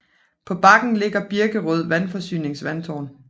På bakken ligger Birkerød Vandforsynings vandtårn